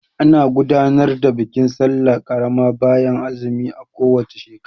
Ana gudanar da bikin sallah karama bayan azumi a ko wace shekara.